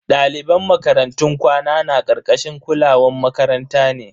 Daliban makarantun kwana na karkashin kulawan makaranta ne.